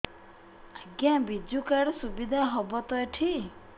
ଆଜ୍ଞା ବିଜୁ କାର୍ଡ ସୁବିଧା ହବ ତ ଏଠି